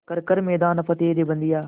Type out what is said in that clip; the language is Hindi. कर हर मैदान फ़तेह रे बंदेया